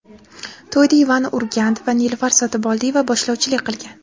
To‘yda Ivan Urgant va Nilufar Sotiboldiyeva boshlovchilik qilgan.